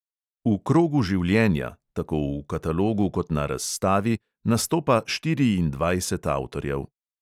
V krogu življenja – tako v katalogu kot na razstavi – nastopa štiriindvajset avtorjev.